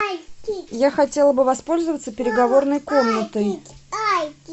я хотела бы воспользоваться переговорной комнатой